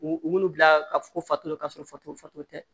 U munnu bila ka fo fataala ka sɔrɔ fatu fato tɛ